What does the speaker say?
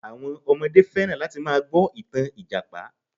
Àwọn ọmọdé fẹ́ràn láti máa gbọ àwọn ìtàn Ìjàpá